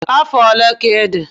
Afọ ole ka ịdị?